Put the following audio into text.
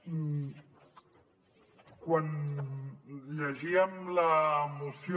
quan llegíem la moció